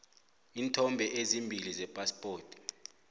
iinthombe ezimbili zephaspoti